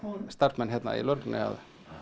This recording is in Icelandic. starfsmenn hérna í lögreglunni að